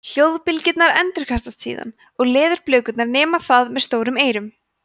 hljóðbylgjurnar endurkastast síðan og leðurblökurnar nema það með stórum eyrum